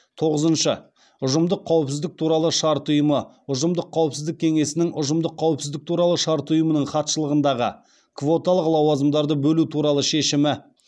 тоғызыншы ұжымдық қауіпсіздік туралы шарт ұйымы ұжымдық қауіпсіздік кеңесінің ұжымдық қауіпсіздік туралы шарт ұйымының хатшылығындағы квоталық лауазымдарды бөлу туралы шешімі